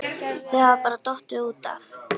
Þau hafa bara dottið út af